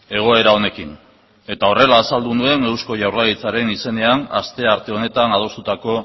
egoera honekin eta horrela azaldu nuen eusko jaurlaritzaren izenean astearte honetan adostutako